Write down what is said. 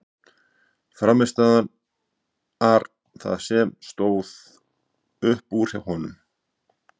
Frammistaðan ar það sem stóð upp úr hjá honum.